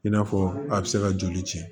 I n'a fɔ a bɛ se ka joli ci